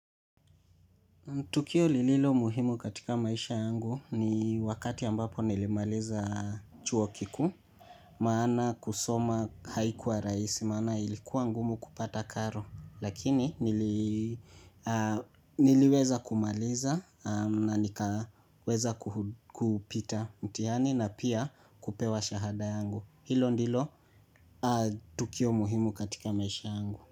Tukio lililo muhimu katika maisha yangu ni wakati ambapo nilimaliza chuo kikuu, maana kusoma haikuwa rahisi, maana ilikuwa ngumu kupata karo, lakini niliweza kumaliza na nikaweza kupita mtihani na pia kupewa shahada yangu. Hilo ndilo tukio muhimu katika maisha yangu.